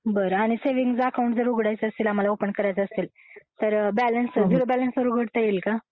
बरं आणि saving account जर उघडायचं असेल आम्हाला, ओपन करायचं असेल, तर झिरो बॅलन्स वर उघडता येईल का?